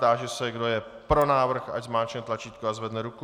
Táži se, kdo je pro návrh, ať zmáčkne tlačítko a zvedne ruku.